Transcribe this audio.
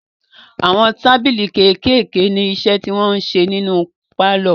Àwọn tábìlì kékèèké ní iṣẹ́ tí wọn ń ṣe nínu pálọ̀.